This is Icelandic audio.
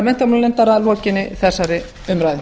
menntamálanefndar að lokinni þessari umræðu